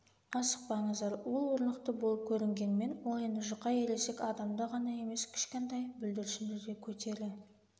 асықпаңыздар ол орнықты болып көрінгенмен ол енді жұқа ересек адамды ғана емес кішкентай бүлдіршіндіде көтере